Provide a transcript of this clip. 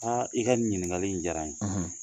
Aa i ka nin ɲininkali in diyara ye